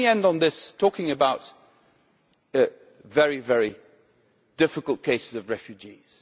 Let me end on this, talking about the very, very difficult case of refugees.